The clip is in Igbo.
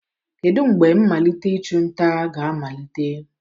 Kedu mgbe mmalite ịchụ nta ga-amalite?